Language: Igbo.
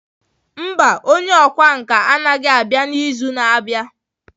Mba, onye ọkwá nkà anaghị abịa n'izu na-abịa.